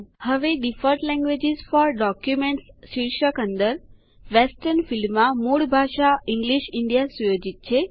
હવે default languages for documents મથાળા અંદર વેસ્ટર્ન ફીલ્ડમાં મૂળભૂત ભાષા ઇંગ્લિશ ઇન્ડિયા સુયોજિત છે